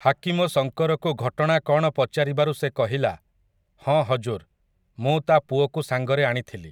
ହାକିମ ଶଙ୍କରକୁ ଘଟଣା କ'ଣ ପଚାରିବାରୁ ସେ କହିଲା, ହଁ ହଜୁର, ମୁଁ ତା ପୁଅକୁ ସାଙ୍ଗରେ ଆଣିଥିଲି ।